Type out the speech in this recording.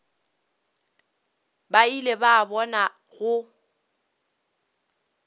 ba ile ba bona go